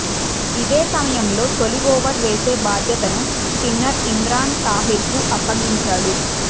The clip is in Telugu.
ఇదే సమయంలో తొలి ఓవర్ వేసే బాధ్యతను స్పిన్నర్ ఇమ్రాన్ తాహిర్కు అప్పగించాడు